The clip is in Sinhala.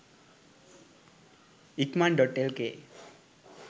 ikaman.lk